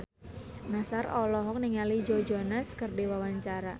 Nassar olohok ningali Joe Jonas keur diwawancara